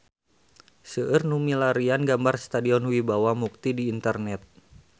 Seueur nu milarian gambar Stadion Wibawa Mukti di internet